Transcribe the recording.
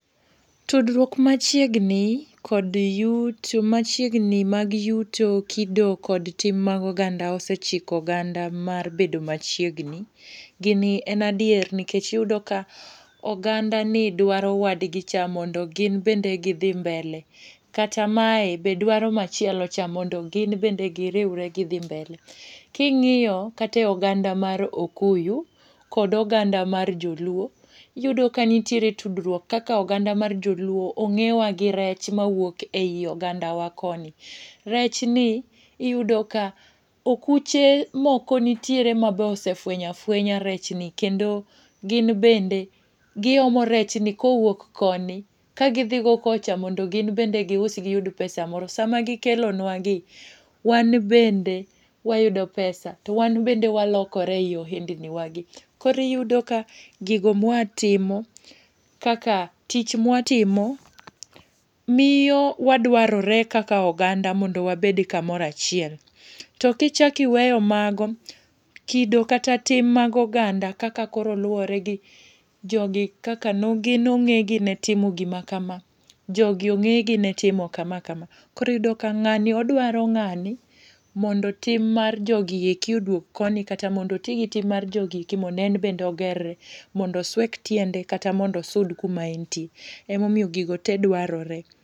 Tudruok machiegni kod yuto, machiegni mag yuto, kido, kod tim mag oganda osechiko oganda mar bedo machiegni. Gini en adier, nikech iyudo ka oganda ni, dwaro wadgi cha mondo gin bende gidhi mbele. Kata mae bende dwaro chielo cha mondo gin bende giriwre gidhi mbele. Kingíyo kata e oganda mar okuyu, kod oganda mar joluo. Iyudo ka nitiere tudruok, kaka oganda mar joluo, ongéwa gi rech mawuok ei oganda wa koni. Rech ni iyudo ka okuche moko nitiere ma be osefwenyo afwenya rechni. Kendo gin bende giomo rech ni kowuok koni, ka gidhi go kocha mondo gin bende giusi giyud pesa moro. Sama gikelo nwa gi, wan bende wayudo pesa, to wan bende walokore ei ohendniwagi. Kori yudo ka gigo mwa timo kaka tich mwatimo miyo wadwarore kaka oganda mondo wabede kamoro achiel. To kichak iweyo mago, kido kata tim mag oganda kaka koro luwore, gi jogi kaka nongégi ne timo gima kama, jogi ongé gi ne timo kama kama. Koro iyudo ka ngáni odwaro ngáni mondo tim mar jogieki oduog koni, kata modo otigi tim mar jogieki, mondo en bende ogerre. Mondo oswek tiende kata mondo osud kuma entie. Ema omiyo gigo te dwarore.